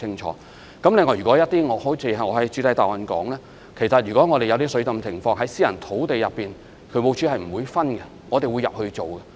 此外，正如我在主體答覆中所說，如果水浸情況在私人土地上發生，渠務署同樣會入內處理。